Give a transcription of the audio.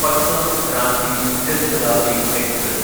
Patna Ranchi Jan Shatabdi express